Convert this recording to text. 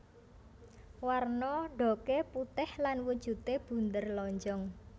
Werna ndhoge putih lan wujude bunder lonjong